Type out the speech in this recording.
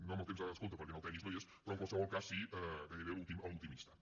no en el temps de descompte perquè en el tennis no hi és però en qualsevol cas sí gairebé en l’últim instant